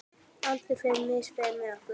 Aldur fer misvel með okkur.